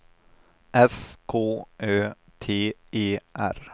S K Ö T E R